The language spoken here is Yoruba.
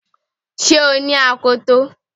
Ṣé o ní akoto